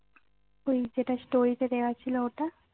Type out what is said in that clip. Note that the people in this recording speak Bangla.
ওই যেটা story তে দেওয়া ছিল ওটা